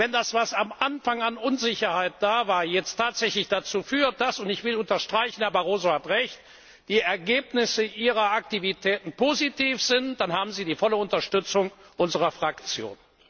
gut so. Wenn das, was am Anfang an Unsicherheit da war, jetzt tatsächlich dazu führt, dass und ich will unterstreichen, Herr Barroso hat Recht die Ergebnisse Ihrer Aktivitäten positiv sind, dann haben Sie die volle Unterstützung unserer Fraktion.